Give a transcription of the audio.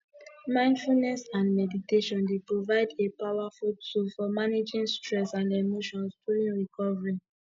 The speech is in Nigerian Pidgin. mindfulness and meditation dey provide a powerful tool for managing stress and emotions during recovery